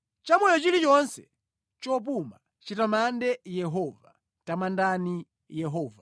Chamoyo chilichonse chopuma chitamande Yehova. Tamandani Yehova.